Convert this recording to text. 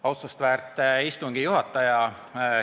Austust väärt istungi juhataja!